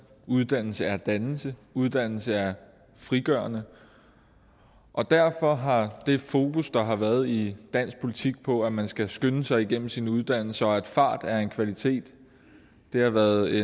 uddannelse er dannelse uddannelse er frigørende og derfor har det fokus der har været i dansk politik på at man skal skynde sig igennem sin uddannelse og at fart er en kvalitet været